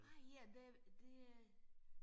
Nej ja det det øh